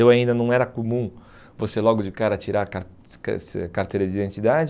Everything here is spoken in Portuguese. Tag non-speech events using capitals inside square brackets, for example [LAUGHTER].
Eu ainda não era comum você logo de cara tirar a car [UNINTELLIGIBLE] carteira de identidade.